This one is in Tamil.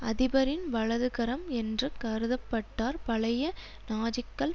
அதிபரின் வலதுகரம் என்று கருத பட்டார் பழைய நாஜிக்கள்